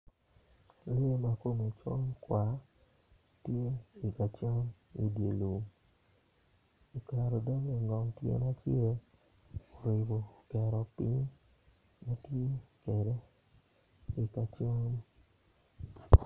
Lee ma kome col tar tye i ka cam idye lum oketo dogge ingom tyene acel oribo oketo piny ma tye kede i ka cam